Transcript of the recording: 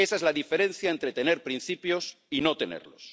Esa es la diferencia entre tener principios y no tenerlos.